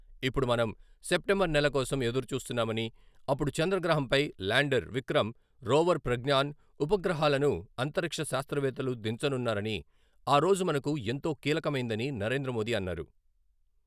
ఇప్పుడు మనం సెప్టెంబర్ నెల కోసం ఎదురుచూస్తున్నామని, అప్పుడు చంద్రగ్రహంపై ల్యాండర్ విక్రమ్, రోవర్ ప్రజ్ఞాన్ ఉపగ్రహాలను అంతరిక్ష శాస్త్రవేత్తలు దించనున్నారని, ఆరోజు మనకు ఎంతో కీలకమైందని నరేంద్రమోదీ అన్నారు.